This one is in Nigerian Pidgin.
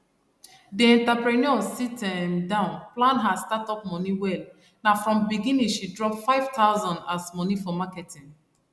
di entrepreneur sit um down plan her startup money wel na from beginning she drop 5000 as money for marketing